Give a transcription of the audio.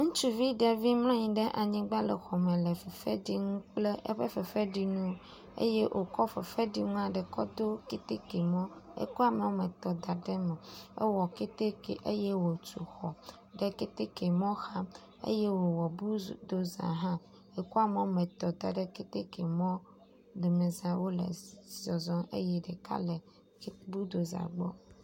Ŋutsuvi ɖevi mlɔ anyi ɖe anyigba le xɔme le fefe dzi nu kple eƒe fefeɖinu eye wòkɔ fefeɖinua ɖe kɔ do kɛtɛkɛ mɔ. Ekɔ ame woametɔ̃ da ɖe eme. Ewɔ kɛtɛkɛ eye wòtu xɔ ɖe kɛtɛkɛ mɔ xa eye wòwɔ bludoza hã. Ekɔ ame woametɔ̃ da ɖe kɛtɛkɛ mɔ domeza wole zɔzɔm eye ɖeka le bludoza gbɔ